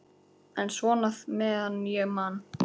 En svona meðan ég man.